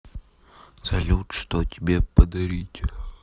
салют что тебе подарить